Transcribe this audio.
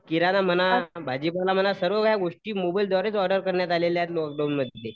किराणा म्हणा भाजीपाला म्हणा सर्व काही गोष्टी मोबाईल द्वारेच ऑर्डर करण्यात आलेल्या आहेत लॉकडाऊनमध्ये.